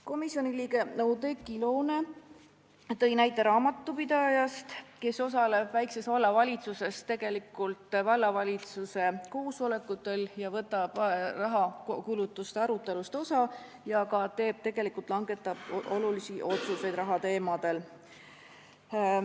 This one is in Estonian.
Komisjoni liige Oudekki Loone tõi näite raamatupidaja kohta, kes osaleb väikses vallavalitsuses vallavalitsuse koosolekutel, võtab kulutuste arutelust osa ja langetab tegelikult ka olulisi otsuseid rahateemadel.